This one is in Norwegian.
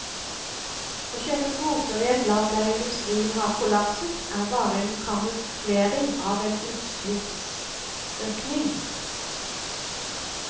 Å kjøpe kvoter i et land der industrien har kollapset er bare en kamuflering av en utslippsøkning.